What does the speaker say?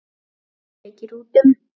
Hann sleikir út um.